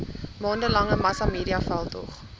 maande lange massamediaveldtog